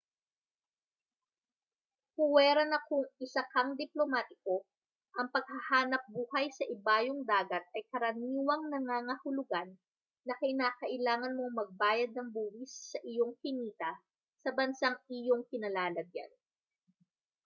puwera na kung isa kang diplomatiko ang paghahanapbuhay sa ibayong dagat ay karaniwang nangangahulugan na kinakailangan mong magbayad ng buwis sa iyong kinita sa bansang iyong kinalalagyan